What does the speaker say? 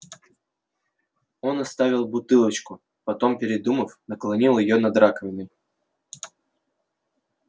он отставил бутылочку потом передумав наклонил её над раковиной